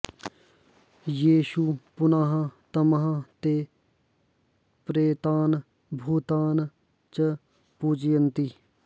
येषु पुनः तमः ते प्रेतान् भूतान् च पूजयन्ति